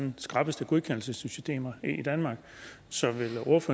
skrappeste godkendelsessystemer i danmark så